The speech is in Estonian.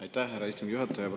Aitäh, härra istungi juhataja!